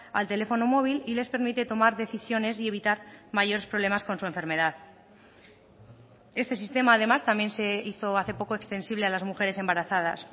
al teléfono móvil y les permite tomar decisiones y evitar mayores problemas con su enfermedad este sistema además también se hizo hace poco extensible a las mujeres embarazadas